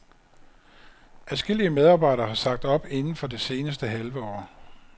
Adskillige medarbejdere har sagt op inden for det seneste halve år.